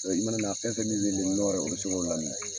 i mana na fɛn fɛn min wele nɔɔrɛ o bɛ sin ko laminɛ.